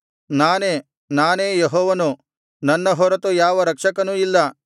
ನಾನೇ ನಾನೇ ಯೆಹೋವನು ನನ್ನ ಹೊರತು ಯಾವ ರಕ್ಷಕನೂ ಇಲ್ಲ